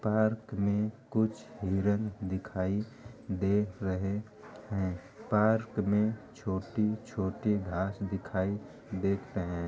Park में कुछ हिरन दिखाई दे रहे हैं | पार्क में छोटी छोटी घास दिखाई दे रहे हैं ।